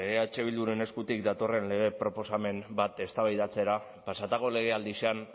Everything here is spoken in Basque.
eh bilduren eskuten datorren lege proposamen bat eztabaidatzera pasatako legealdian